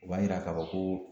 U b'a yira k'a fɔ ko